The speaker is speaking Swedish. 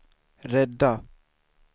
rädda